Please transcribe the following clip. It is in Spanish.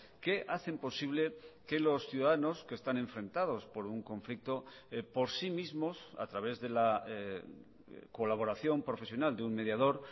que hacen posible que los ciudadanos que están enfrentados por un conflicto por sí mismos a través de la colaboración profesional de un mediador